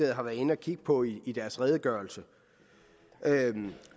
har været inde at kigge på i i deres redegørelse